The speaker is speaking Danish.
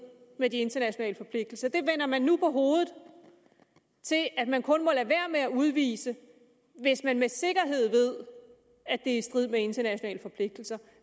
med de internationale forpligtelser det vender man nu på hovedet til at man kun må lade være med at udvise hvis man med sikkerhed ved at det er i strid med internationale forpligtelser